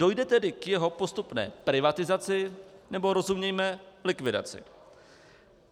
Dojde tedy k jeho postupné privatizaci, nebo rozumějme likvidaci.